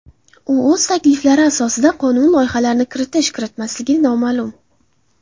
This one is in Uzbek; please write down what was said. U o‘z takliflari asosida qonun loyihalarini kiritish-kiritmasligi noma’lum.